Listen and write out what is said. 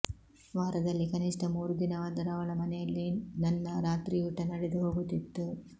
ವಾರದಲ್ಲಿ ಕನಿಷ್ಠ ಮೂರು ದಿನವಾದರೂ ಅವಳ ಮನೆಯಲ್ಲೇ ನನ್ನ ರಾತ್ರಿಯೂಟ ನಡೆದುಹೋಗುತ್ತಿತ್ತು